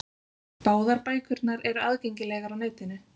Báðar bækurnar eru aðgengilegar á netinu.